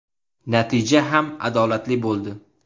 Natija ham adolatli bo‘ldi.